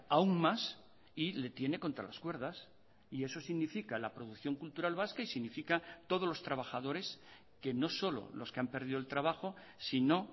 aun más y le tiene contra las cuerdas y eso significa la producción cultural vasca y significa todos los trabajadores que no solo los que han perdido el trabajo sino